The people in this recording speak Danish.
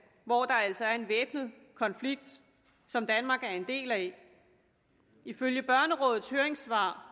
hvor der altså er en væbnet konflikt som danmark er en del af ifølge børnerådets høringssvar